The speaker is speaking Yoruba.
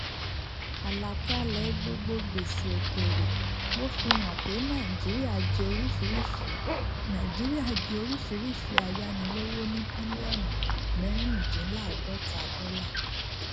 àlàkalẹ gbogbo gbèsè òkèrè ló fi hàn pé nàìjíríà jẹ orísirísi nàìjíríà jẹ orísirísi ayánilówó ní bílíọnù mẹrìndínláàdọta dọlà